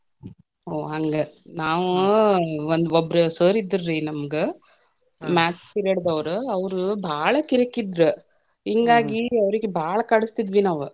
ಓ ಹಂಗ, ನಾವು ಒಬ್ರ sir ಇದ್ರರೀ ನಮ್ಗ, maths period ದವರ ಅವ್ರ ಬಾಳ ಕಿರಿಕಿದ್ರ ಅವ್ರಿಗೇ ಬಾಳ ಕಾಡಸ್ತಿದ್ವಿ ನಾವ.